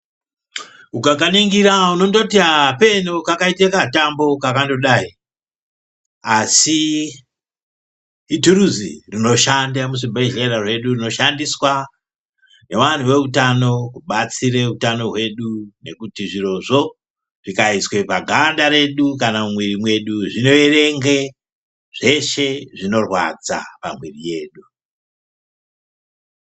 Ukakaningira unondoti apenoo kakandoita katambo kakandodai asi ituruzi rinoshanda muzvibhedhlera mwedu rinoshandiswa ngevantu veutano kubatsira utano hwedu ngekuti zvirozvo zvikaiswa muganda redu kana mumwiri mwedu zvinoerenga zveshe zvinorwadza pamwiri yedu.